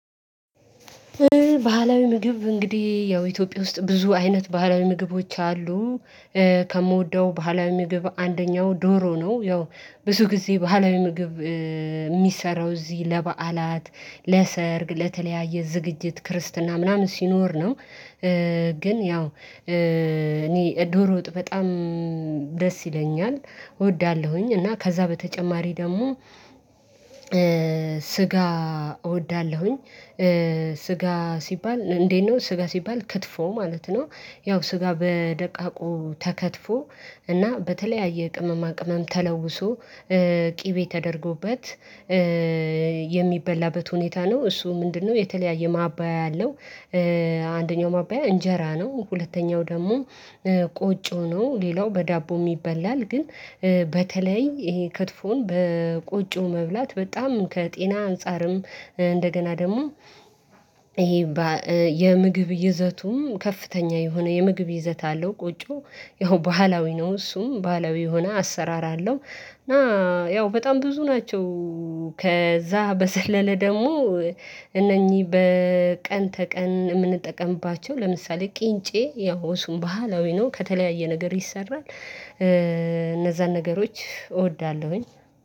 ባህላዊ ምግብ እንግዲህ ያው ኢትዮጵያ ውስጥ ብዙ አይነት ባህላዊ ምግቦች አሉ። ከምወደው ባህላዊ ምግብ አንደኛው ዶሮ ነው። ያው ብዙ ጊዜ ባህላዊ ምግብ የሚሰራው እዚህ ለበዓላት ለሰርግ ለተለያየ ዝግጅት ክርስትና ምናምን ሲኖር ነው። ግን ያው እኔ ዶሮ ወጥ በጣም ደስ ይለኛል እወዳለሁኝ እና ከዛ በተጨማሪ ደግሞ ስጋ እወዳለሁኝ። ስጋ ሲባል እንዴት ነው ስጋ ሲባል ክትፎ ማለት ነው? ያው ስጋ በደቃቁ ተከትፎ እና በተለያየ ቅመማ ቅመም ተለውሶ ቅቤ ተደርጎበት። ሁኔታ ነው እሱም ምንድነው የተለያየ ማባያ አለው? አንደኛው ማባያ እንጀራ ነው ሁለተኛው ደግሞ ቆጮ ነው። ሌላው በዳቦም ይበላል ግን በተለይ ይሄ ክትፎን በቆጮ መብላት በጣም ከጤና አንፃርም እንደገና ደግሞ። የምግብ ይዘቱም ከፍተኛ የሆነ የምግብ ይዘት አለው። ቆጮው ያው ባህላዊ ነው እሱም ባህላዊ የሆነ አሰራር አለው። እና ያው በጣም ብዙ ናቸው። ከዛ በዘለለ ደግሞ እነኚህ በቀን ተቀን እምንጠቀምባቸው ለምሳሌ ቂንጬ ይው እሱም ባህላዊ ነው ከተለያየ ነገር ይሰራል እነዛን ነገሮች እወዳለሁኝ።